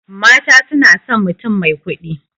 Mata sunason mutum mai kuɗi